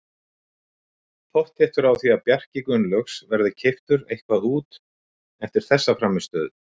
Pottþéttur á því að Bjarki Gunnlaugs verði keyptur eitthvað út eftir þessa frammistöðu.